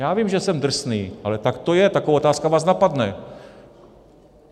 Já vím, že jsem drsný, ale tak to je, taková otázka vás napadne.